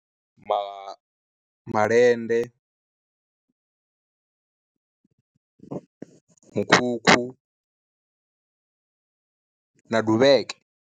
Ma ma malende, mukhukhu na duvheke.